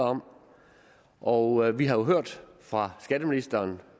om og vi har jo hørt fra skatteministeren